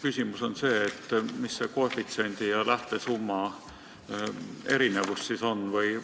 Mis see koefitsiendi ja lähtesumma erinevus siis on?